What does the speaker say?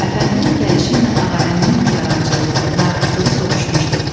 Əfəndinin gəlişi ilə Ağarəhimin nigarançılığı, narahatlığı sovuşmuşdu.